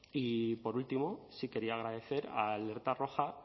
y por último sí quería agradecer a alerta roja